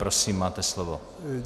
Prosím, máte slovo.